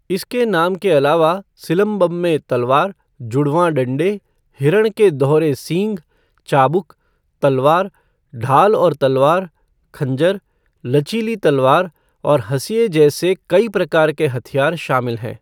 इसके नाम के अलावा, सिलंबम में तलवार, जुड़वां डंडे, हिरण के दोहरे सींग, चाबुक, तलवार, ढाल और तलवार, खंजर, लचीली तलवार और हंसिया जैसे कई प्रकार के हथियार शामिल हैं।